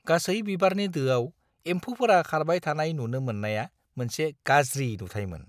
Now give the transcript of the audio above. गासै बिबारनि दोआव एम्फौफोरा खारबाय थानाय नुनो मोननाया मोनसे गाज्रि नुथायमोन।